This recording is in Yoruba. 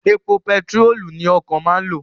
Èpo bentirolu ni okọ̀ máa ń lo